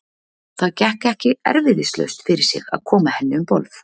Það gekk ekki erfiðislaust fyrir sig að koma henni um borð.